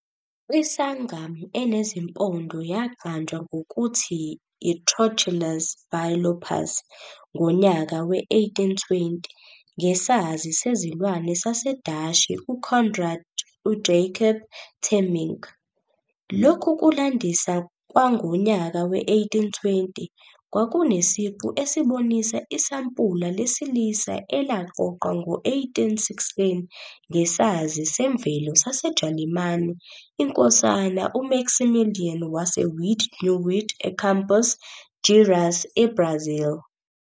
I-sungem enezimpondo yaqanjwa ngokuthi y"I-Trochilus bilophus" ngonyaka we-1820 ngesazi sezilwane saseDashi UCoenraad UJacob Temminck. Lokhu kulandisa kwangonyaka we-1820 kwakunesiqu esibonisa isampula lesilisa elaqoqwa ngo-1816 ngesazi semvelo saseJalimane INkosana uMaximilian waseWied-Neuwied eCampos Gerais, eBrazil.